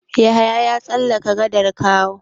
Yahaya ya tsallaka gadar Kawo.